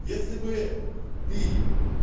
если бы ты